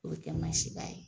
O kɛ ma se ka